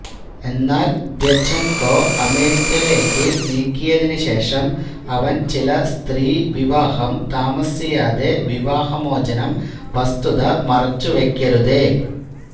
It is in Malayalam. എന്നാൽ ദ്യഛെന്കൊ അമേരിക്ക ലേക്ക് നീക്കിയതിന് ശേഷം അവൻ ചില സ്ത്രീ വിവാഹം താമസിയാതെ വിവാഹമോചനം വസ്തുത മറെച്ചുവെക്കരുതേ